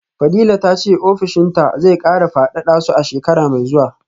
fadila tace ofishinta zai kara fadada su a shekara mai zuwa